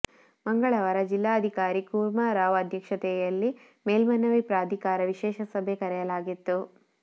ಮಂಗಳವಾರ ಜಿಲ್ಲಾಧಿಕಾರಿ ಕೂರ್ಮಾರಾವ್ ಅಧ್ಯಕ್ಷತೆಯಲ್ಲಿ ಮೇಲ್ಮನವಿ ಪ್ರಾಧಿಕಾರದ ವಿಶೇಷ ಸಭೆ ಕರೆಯಲಾಗಿತ್ತು